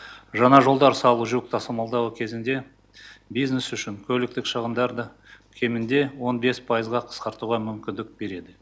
жаңа жолдар салу жүк тасымалдау кезінде бизнес үшін көліктік шығындарды кемінде он бес пайызға қысқартуға мүмкіндік береді